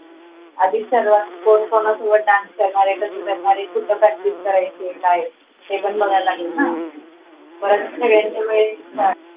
अधिक ठरवा कोण कोणासोबत dance करणार आहे तर करणार आहे ते पण बघावं लागेल ना